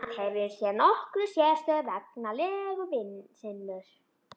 Ísland hefur hér nokkra sérstöðu vegna legu sinnar.